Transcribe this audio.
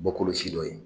Bɔkolo si dɔ ye